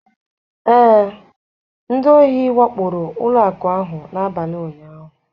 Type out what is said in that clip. Ee, ndị ohi wakporo ụlọ akụ ahụ n'abalị ụnyaahụ